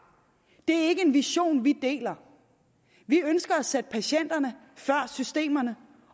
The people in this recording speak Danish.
det er ikke en vision vi deler vi ønsker at sætte patienterne før systemerne